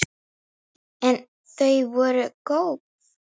En þau voru góð.